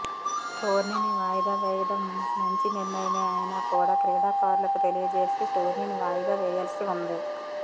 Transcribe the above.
టోర్నీని వాయిదా వేయడం మంచి నిర్ణయమే అయినా కూడా క్రీడాకారులకు తెలియజేసి టోర్నీని వాయిదా వేయాల్సి ఉంది